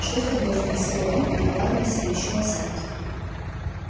что с тобой спросил рон накладывая себе ещё овсянки